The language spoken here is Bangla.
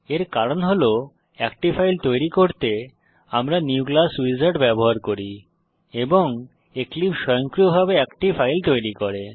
এর কারণ হল একটি ফাইল তৈরী করতে আমরা নিউ ক্লাস উইজার্ড ব্যবহার করি এবং এক্লিপসে স্বয়ংক্রিয়ভাবে একটি ফাইল তৈরি করে